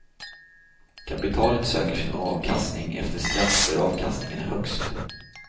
Kapitalet söker sin avkastning efter skatt där avkastningen är högst.